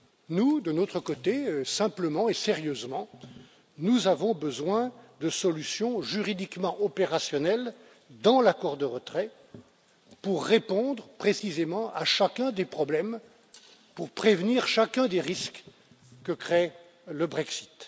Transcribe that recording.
Nous de notre côté, simplement et sérieusement, nous avons besoin de solutions juridiquement opérationnelles dans l'accord de retrait pour répondre précisément à chacun des problèmes, pour prévenir chacun des risques que crée le Brexit.